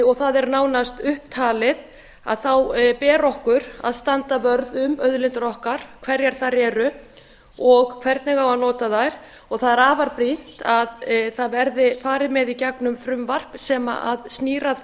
og það er nánast upptalið þá ber okkur að standa vörð um auðlindir okkar hverjar þær eru og hvernig á að nota þær og það er afar brýnt að það verði farið með í gegnum frumvarp sem snýr að